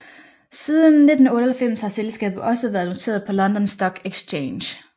Siden 1998 har selskabet også været noteret på London Stock Exchange